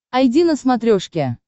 айди на смотрешке